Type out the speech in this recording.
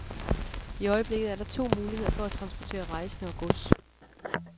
I øjeblikket er der to muligheder for at transportere rejsende og gods.